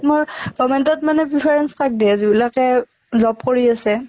মোৰ government ত মানে preference কাক দিয়ে যিবিলাকে job কৰি আছে।